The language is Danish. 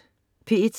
P1: